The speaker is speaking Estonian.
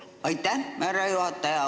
Aitäh, härra juhataja!